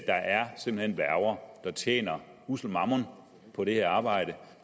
er værger der tjener ussel mammon på det her arbejde